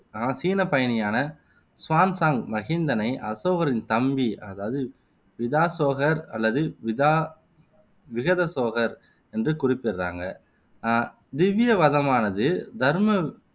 ஆனால் சீன பயணியான சுவான்சாங் மகிந்தனை அசோகரின் தம்பி அதாவது விதாசோகர் அல்லது விதா விகதசோகர் என்று குறிப்பிடுறாங்க ஆஹ் திவ்யவனமானது தர்ம